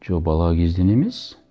жоқ бала кезден емес